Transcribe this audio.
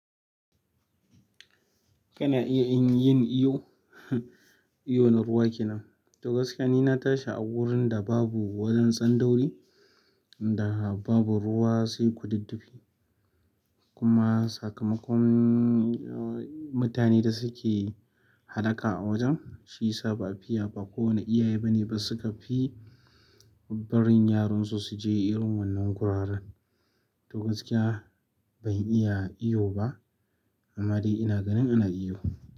Kana iya in yin ihu hmm? Iyo na kowa kenan. To gaskiya ni na tashi a wurin da babu wajen tsandauri, da babu ruwa sai ku diddufi. Kuma sakamakon mutane da suke hallaka a wajen, shiyasa ba'a fiya ba kowane iyaye bane ba suka fi barin yaransu su je irin wannan guraren. To gaskiya ban iya iyo ba, amma dai ina ganin ana iyo.